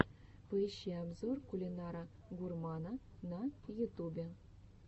поищи обзор кулинара гурмана на ютубе